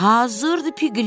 Hazırdır, Piqlet.